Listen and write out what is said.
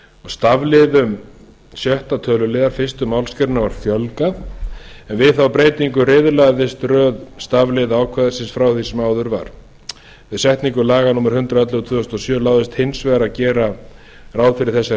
stafliðum í sjötta töluliðar fyrstu málsgrein var fjölgað en við þá breytingu riðlaðist röð stafliða ákvæðisins frá því sem áður var við setningu laga númer hundrað og ellefu tvö þúsund og sjö láðist hins vegar að gera ráð fyrir þessari